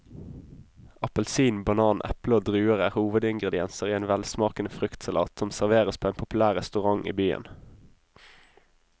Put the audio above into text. Appelsin, banan, eple og druer er hovedingredienser i en velsmakende fruktsalat som serveres på en populær restaurant i byen.